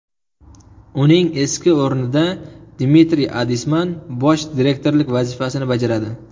Uning eski o‘rnida Dmitriy Adisman bosh direktorlik vazifasini bajaradi.